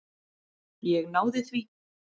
Ég náði því.